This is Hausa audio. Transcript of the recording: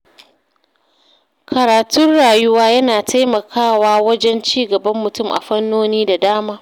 Karatun rayuwa yana taimakawa wajen ci gaban mutum a fannoni da dama.